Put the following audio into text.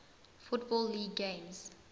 football league games